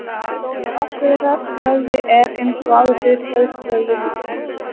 Stóri rassvöðvi er, eins og áður segir, stærsti vöðvi líkamans.